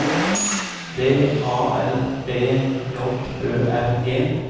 V A L B J Ø R G